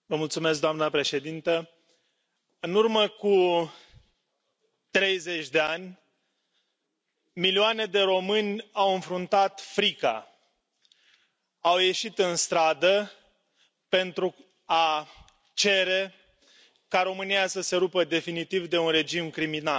Doamnă președintă, în urmă cu 30 de ani, milioane de români au înfruntat frica, au ieșit în stradă pentru a cere ca România să se rupă definitiv de un regim criminal